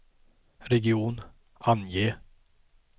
region, ange